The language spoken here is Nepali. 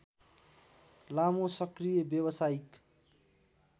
लामो सक्रिय व्यावसायिक